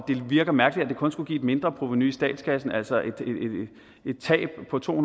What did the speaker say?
virker mærkeligt at det kun skulle give et mindreprovenu i statskassen altså et tab på to